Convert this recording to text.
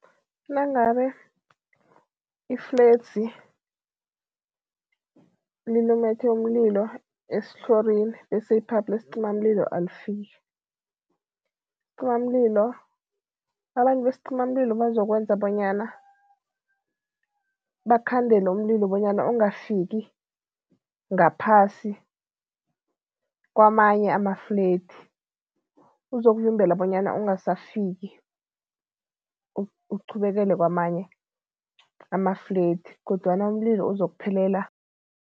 Nangabe ifledzi lilumethe umlilo esitlhorini bese i-pipe lesicimamlilo alifiki, isicimalilo abantu besicimamlilo bazokwenza bonyana bakhandele umlilo bonyana ungafiki ngaphasi kwamanye ama-flat, uzokuvimbela bonyana ungasafiki uqhubekele kwamanye ama-flat kodwana umlilo uzokuphelela.